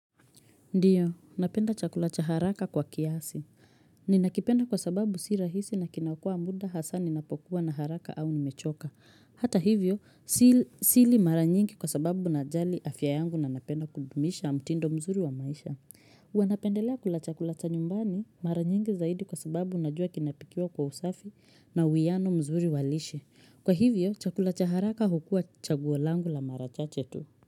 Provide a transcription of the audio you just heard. Ndiyo, napenda chakula cha haraka kwa kiasi. Ninakipenda kwa sababu si rahisi na kinaokoa muda hasa ninapokuwa na haraka au nimechoka. Hata hivyo, sili mara nyingi kwa sababu najali afya yangu na napenda kudumisha mtindo mzuri wa maisha. Huwa napendelea kula chakula cha nyumbani, mara nyingi zaidi kwa sababu najua kinapikiwa kwa usafi na uiano mzuri wa lishe. Kwa hivyo, chakula cha haraka hukua chaguo langu la mara chache tu.